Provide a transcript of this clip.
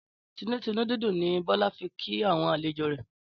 Tìdùnnútìdùnnú ni Bólá fi kí àwon àlejò rè